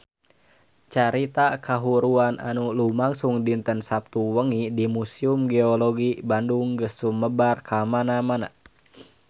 Carita kahuruan anu lumangsung dinten Saptu wengi di Museum Geologi Bandung geus sumebar kamana-mana